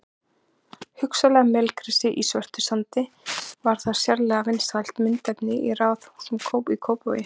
Hugsanlega melgresi í svörtum sandi sem var sérlega vinsælt myndefni í raðhúsum í Kópavogi.